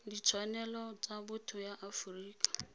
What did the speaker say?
ditshwanelo tsa botho ya aforika